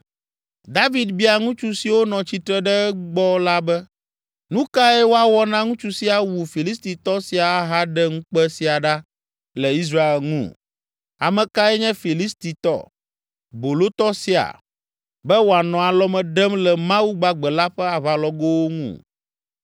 David bia ŋutsu siwo nɔ tsitre ɖe egbɔ la be, “Nu kae woawɔ na ŋutsu si awu Filistitɔ sia ahaɖe ŋukpe sia ɖa le Israel ŋu? Ame kae nye Filistitɔ, bolotɔ sia, be wòanɔ alɔme ɖem le Mawu gbagbe la ƒe aʋalɔgowo ŋu?”